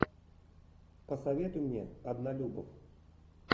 посоветуй мне однолюбов